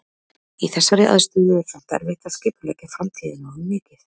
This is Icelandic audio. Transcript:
Í þessari aðstöðu er samt erfitt að skipuleggja framtíðina of mikið.